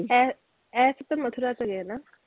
ਇਹ, ਇਹ ਸਭ ਤੇ ਮਥੁਰਾ ਚ ਹੈਗੇ ਹੈ ਨਾ?